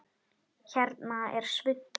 Hérna er svunta